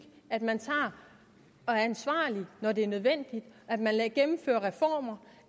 at man er ansvarlig når det er nødvendigt at man gennemfører reformer